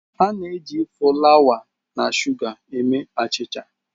A na-eji fulawa na shuga mee achicha.